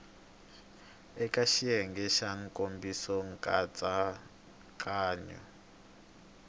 eka xiyenge xa nkomiso nkatsakanyo